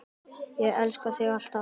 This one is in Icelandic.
Ég elska þig alltaf.